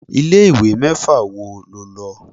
Ilé ìwé mẹ́fà wo lo lọ?